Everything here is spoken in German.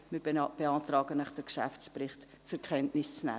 Wir beantragen Ihnen, den Geschäftsbericht zur Kenntnis zu nehmen.